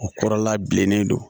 O kɔrɔla bilennen don